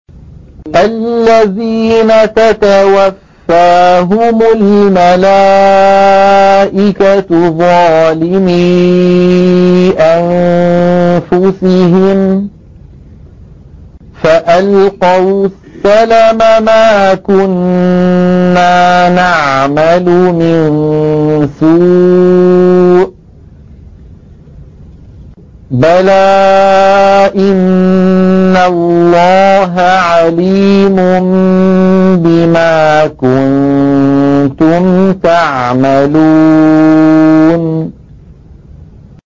الَّذِينَ تَتَوَفَّاهُمُ الْمَلَائِكَةُ ظَالِمِي أَنفُسِهِمْ ۖ فَأَلْقَوُا السَّلَمَ مَا كُنَّا نَعْمَلُ مِن سُوءٍ ۚ بَلَىٰ إِنَّ اللَّهَ عَلِيمٌ بِمَا كُنتُمْ تَعْمَلُونَ